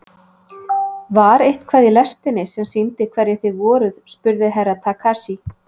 Var eitthvað í lestinni sem sýndi hverjir þið voruð spurði Herra Takashi.